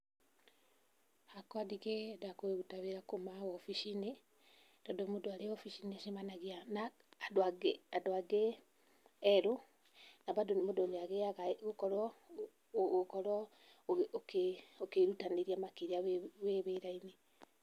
Hakwa ndingĩenda kũruta wĩra kuuma obici-inĩ, tondũ mũndũ arĩ obici nĩ acemanagia na andũ angĩ, andũ angĩ erũ, na bandũ nĩ mũndũ nĩagĩaga gũkorwo ũkorwo ũkĩĩrutanĩria makĩria wĩ wĩ wĩra-inĩ.